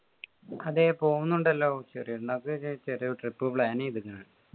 അതെ പോവുന്നുണ്ടല്ലോ ചെറിയ പെരുന്നാക്ക് ചെറിയൊരു trip plan എയ്തിന്